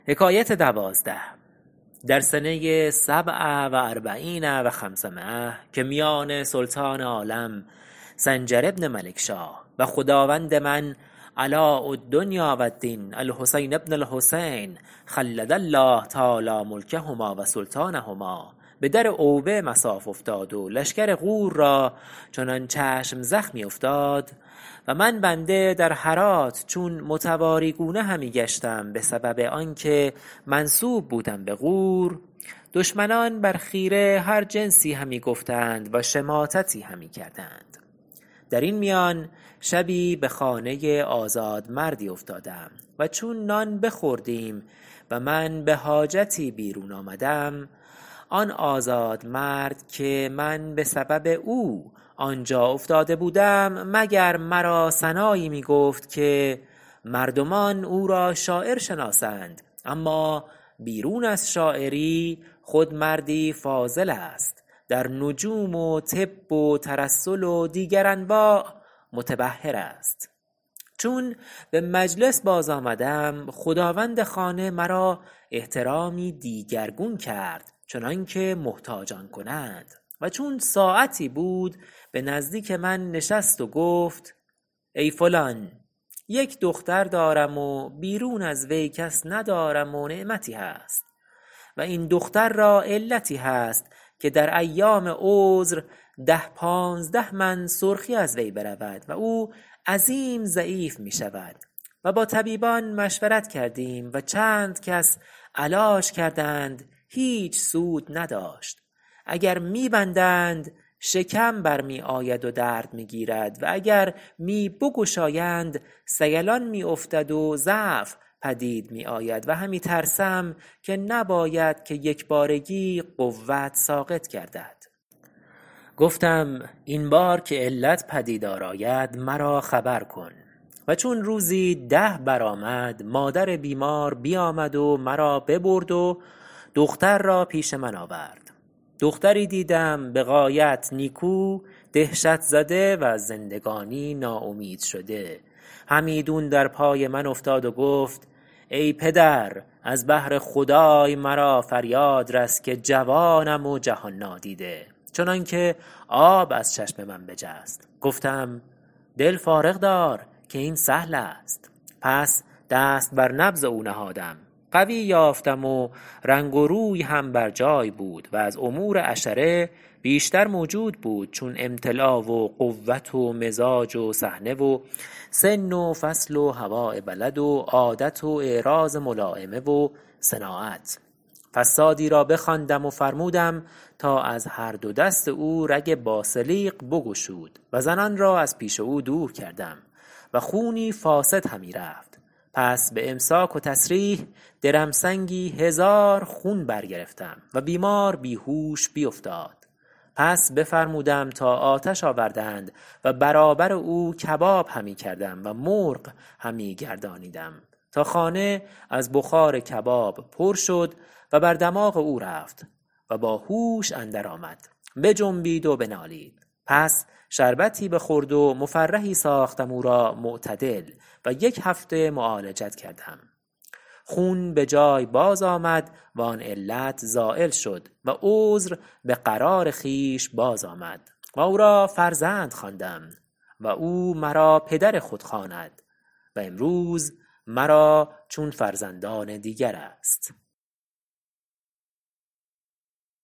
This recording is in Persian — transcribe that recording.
در سنه سبع و اربعین و خمسمایة که میان سلطان عالم سنجر بن ملکشاه و خداوند من علاء الدنیا و الدین الحسین بن الحسین خلد الله تعالی ملکهما و سلطانهما به در اوبه مصاف افتاد و لشکر غور را چنان چشم زخمی افتاد و من بنده در هرات چون متواری گونه همی گشتم به سبب آن که منسوب بودم به غور دشمنان بر خیره هر جنسی همی گفتند و شماتتی همی کردند در این میان شبی به خانه آزادمردی افتادم و چون نان بخوردیم و من به حاجتی بیرون آمدم آن آزادمرد که من به سبب او آنجا افتاده بودم مگر مرا ثنایی می گفت که مردمان او را شاعر شناسند اما بیرون از شاعری خود مردی فاضل است در نجوم و طب و ترسل و دیگر انواع متبحر است چون به مجلس باز آمدم خداوند خانه مرا احترامی دیگرگون کرد چنان که محتاجان کنند و چون ساعتی بود به نزدیک من نشست و گفت ای فلان یک دختر دارم و بیرون از وی کس ندارم و نعمتی هست و این دختر را علتی هست که در ایام عذر ده پانزده من سرخی از وی برود و او عظیم ضعیف می شود و با طبیبان مشورت کردیم و چند کس علاج کردند هیچ سود نداشت اگر می بندند شکم بر می آید و درد همی گیرد و اگر می بگشایند سیلان می افتد و ضعف پدید می آید و همی ترسم که نباید که یکبارگی قوت ساقط گردد گفتم این بار که این علت پدیدار آید مرا خبر کن و چون روزی ده برآمد مادر بیمار بیامد و مرا ببرد و دختر را پیش من آورد دختری دیدم به غایت نیکو دهشت زده و از زندگانی ناامید شده همیدون در پای من افتاد و گفت ای پدر از بهر خدای مرا فریاد رس که جوانم و جهان نادیده چنان که آب از چشم من بجست گفتم دل فارغ دار که این سهل است پس دست بر نبض او نهادم قوی یافتم و رنگ روی هم بر جای بود و از امور عشره بیشتر موجود بود چون امتلا و قوت و مزاج و سحنه و سن و فصل و هواء بلد و عادت و اعراض ملایمه و صناعت فصادی را بخواندم و بفرمودم تا از هر دو دست او رگ باسلیق بگشود و زنان را از پیش او دور کردم و خونی فاسد همی رفت پس به امساک و تسریح درمسنگی هزار خون بر گرفتم و بیمار بیهوش بیفتاد پس بفرمودم تا آتش آوردند و برابر او کباب همی کردم و مرغ همی گردانیدم تا خانه از بخار کباب پر شد و بر دماغ او رفت و با هوش اندر آمد بجنبید و بنالید پس شربتی بخورد و مفرحی ساختم او را معتدل و یک هفته معالجت کردم خون به جای باز آمد و آن علت زایل شد و عذر به قرار خویش باز آمد و او را فرزند خواندم و او مرا پدر خود خواند و امروز مرا چون فرزندان دیگر است